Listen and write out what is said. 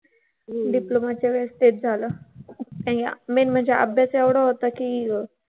Diploma च्या वेळेस तेच झालं. Main म्हणजे अभ्यास एवढा होता की.